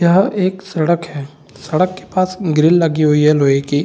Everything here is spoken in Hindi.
यह एक सड़क है सड़क के पास एक ग्रिल लगी हुई है लोहे की।